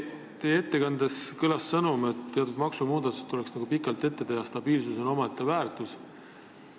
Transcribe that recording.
Teie ettekandes kõlas sõnum, et teatud maksumuudatustest tuleks pikalt ette teatada ja et stabiilsus on omaette väärtus.